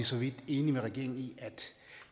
så vidt enige med regeringen i at